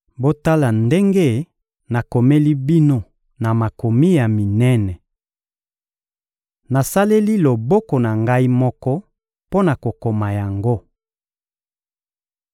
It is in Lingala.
Botala ndenge nakomeli bino na makomi ya minene! Nasaleli loboko na ngai moko mpo na kokoma yango.